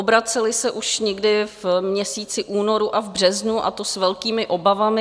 Obraceli se už někdy v měsíci únoru a v březnu, a to s velkými obavami.